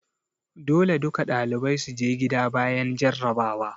Dole duka ɗalibai su je gida bayan jarrabawa!